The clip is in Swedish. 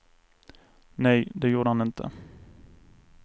Nej, det gjorde han inte.